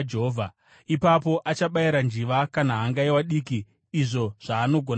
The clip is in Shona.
Ipapo achabayira njiva kana hangaiwa diki izvo zvaanogona kuwana,